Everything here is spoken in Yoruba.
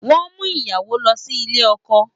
Wọ́n ń mú ìyàwó lọ sí ilé ọkọ